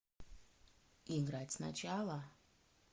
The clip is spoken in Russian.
играть сначала